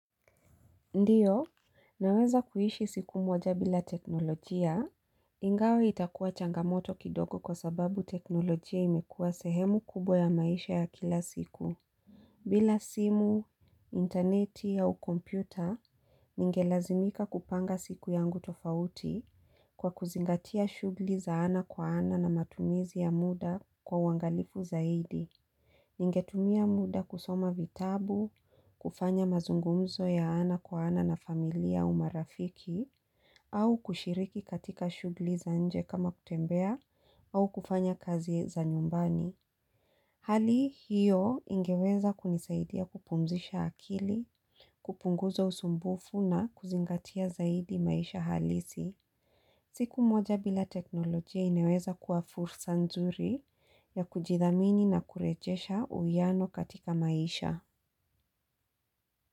Ndiyo, naweza kuishi siku moja bila teknolojia, ingawa itakuwa changamoto kidogo kwa sababu teknolojia imekuwa sehemu kubwa ya maisha ya kila siku. Bila simu, interneti au kompyuta, ningelazimika kupanga siku yangu tofauti kwa kuzingatia shughli za ana kwa ana na matumizi ya muda kwa uangalifu zaidi. Ya mazungumzo ya ana kwa ana na familia au marafiki au kushiriki katika shughli za nje kama kutembea au kufanya kazi za nyumbani. Hali hiyo ingeweza kunisaidia kupumzisha akili, kupunguza usumbufu na kuzingatia zaidi maisha halisi. Siku moja bila teknolojia ineweza kuwa fursa nzuri ya kujidhamini na kurejesha uhiano katika maisha.